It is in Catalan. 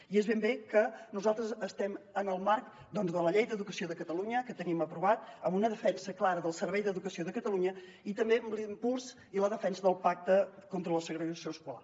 i és ben bé que nosaltres estem en el marc de la llei d’educació de catalunya que tenim aprovada amb una defensa clara del servei d’educació de catalunya i també amb l’impuls i la defensa del pacte contra la segregació escolar